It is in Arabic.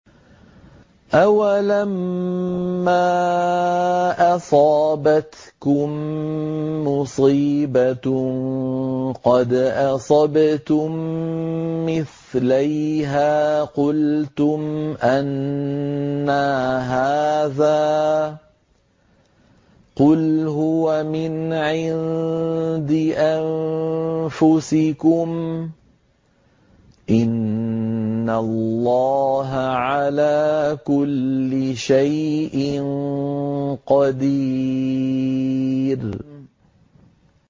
أَوَلَمَّا أَصَابَتْكُم مُّصِيبَةٌ قَدْ أَصَبْتُم مِّثْلَيْهَا قُلْتُمْ أَنَّىٰ هَٰذَا ۖ قُلْ هُوَ مِنْ عِندِ أَنفُسِكُمْ ۗ إِنَّ اللَّهَ عَلَىٰ كُلِّ شَيْءٍ قَدِيرٌ